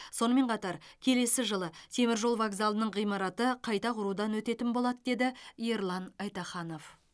сонымен қатар келесі жылы темір жол вокзалының ғимараты қайта құрудан өтетін болады деді ерлан айтаханов